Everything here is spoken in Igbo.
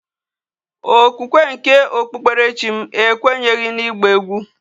okwukwe nke okpukperechim ekwenyeghi na igba egwu